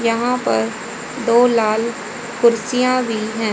यहां पर दो लाल कुर्सियां भी हैं।